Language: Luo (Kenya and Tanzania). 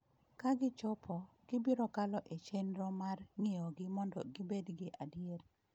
Ka gichopo, gibiro kalo e chenro mar ng’iyogi mondo gibed gi adier.